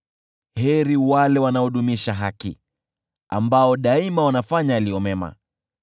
Heri wale wanaodumisha haki, ambao daima wanafanya yaliyo mema.